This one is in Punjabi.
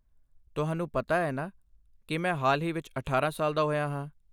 ਤੁਹਾਨੂੰ ਪਤਾ ਹੈ ਨਾ ਕੀ ਮੈਂ ਹਾਲ ਹੀ ਵਿੱਚ ਅਠਾਰਾਂ ਸਾਲ ਦਾ ਹੋਇਆ ਹਾਂ?